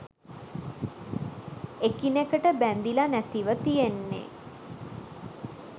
එකිනෙකට බැඳිලා නැතිව තියෙන්නේ